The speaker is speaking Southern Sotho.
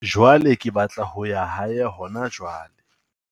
Jwale ke batla ho ya hae hona jwale.